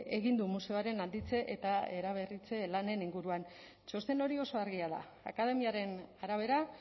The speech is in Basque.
egin du museoaren handitze eta eraberritze lanen inguruan txosten hori oso argia da akademiaren arabera